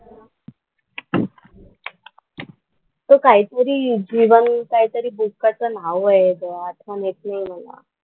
तो काही तरी जीवन काहीतरी बुकाचं नाव आहे ग आठवण येत नाही मला.